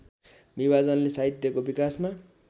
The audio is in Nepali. विभाजनले साहित्यको विकासमा